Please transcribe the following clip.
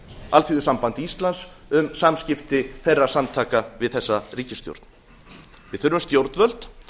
alþýðusamband íslands um samskipti þeirra samtaka við þessa ríkisstjórn við þurfum stjórnvöld